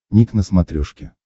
ник на смотрешке